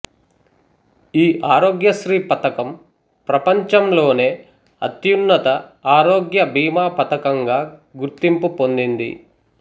ఈ ఆరోగ్యశ్రీ పథకం ప్రపంచంలోనే అత్యున్నత ఆరోగ్య బీమా పథంకంగా గుర్తింపు పొందింది